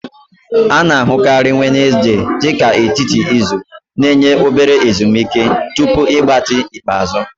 A na-ahụkarị Wenezde dị ka etiti izu, na-enye obere oge ezumike tupu ịgbatị ikpeazụ.